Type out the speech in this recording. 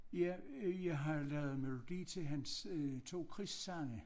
Ja øh jeg har jo lavet melodi til hans øh 2 krigssange